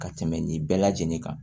Ka tɛmɛ nin bɛɛ lajɛlen kan